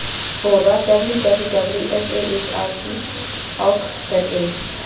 borwa www sahrc org za